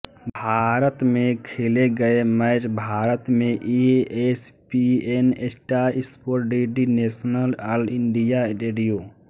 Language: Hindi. भारत में खेले गए मैच भारत में ESPN star sports DD national all India radio